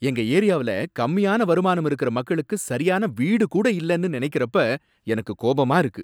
எங்க ஏரியாவுல கம்மியான வருமானம் இருக்கிற மக்களுக்கு சரியான வீடு கூட இல்லன்னு நினைக்கிறப்ப எனக்கு கோபமா இருக்கு.